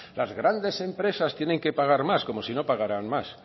las grandes empresas tienen que pagar más como si no pagarán más